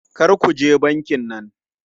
Kar ku je bankin nan!